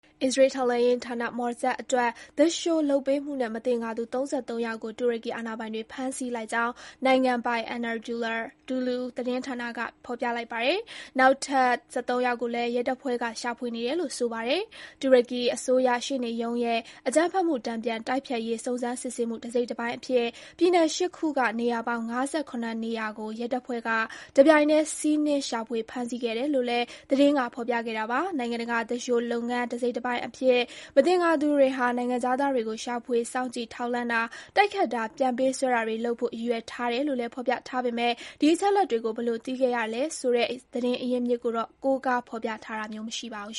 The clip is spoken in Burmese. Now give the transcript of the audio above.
အစ္စရေးထောက်လှမ်းရေးဌာန Mossad အတွက် သူလျှိုလုပ်ပေးမှုနဲ့ မသင်္ကာသူ ၃၃ ယောက်ကို တူရကီအာဏာပိုင်တွေ ဖမ်းဆီးလိုက်ကြောင်း နိုင်ငံပိုင် Anadolu သတင်းက ဖော်ပြလိုက်ပါတယ်။ နောက်ထပ် ၁၃ ယောက်ကိုလည်း ရဲတပ်ဖွဲ့က ရှာဖွေနေတယ်လို့ ဆိုပါတယ်။ တူရကီအစိုးရရှေ့နေရုံးရဲ့ အကြမ်းဖက်မှု တန်ပြန်တိုက်ဖျက်ရေး စုံစမ်းစစ်ဆေးမှု တစိတ်တပိုင်းအဖြစ် ပြည်နယ် ၈ ခုက နေရာပေါင်း ၅၇ နေရာကို ရဲတပ်ဖွဲ့က တပြိုင်နက်တည်း စီးနင်းရှာဖွေ ဖမ်းဆီးခဲ့တာလို့လည်း သတင်းက ဖော်ပြခဲ့တာပါ။ နိုင်ငံတကာ သူလျှိုလုပ်ငန်း တစိတ်တပိုင်းအဖြစ် မသင်္ကာသူတွေဟာ နိုင်ငံခြားသားတွေကို ရှာဖွေစောင့်ကြည့် ထောက်လှမ်းတာ၊ တိုက်ခိုက်တာ၊ ပြန်ပေးဆွဲတာတွေလုပ်ဖို့ ရည်ရွယ်ထားတယ်လို့လည်း ဖော်ပြထားပေမဲ့၊ ဒီအချက်အလက်တွေကို ဘယ်လိုသိခဲ့ရတယ်ဆိုတဲ့ သတင်းအရင်းအမြစ်ကို ကိုးကားဖော်ပြတာမျိုးတော့ မရှိပါဘူး